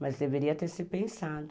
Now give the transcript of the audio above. Mas deveria ter se pensado.